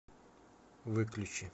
выключи